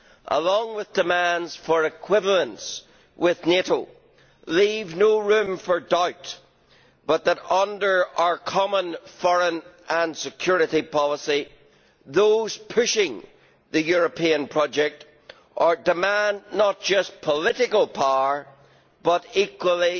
along with demands for equivalence with NATO leave no room for doubt but that, under our common foreign and security policy, those pushing the European project demand not just political power but also